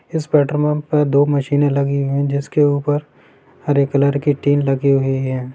इस पेट्रोपम्प पे दो मशीने लगी हुई है जिसके ऊपर हरे कलर की टिन लगी हुई है।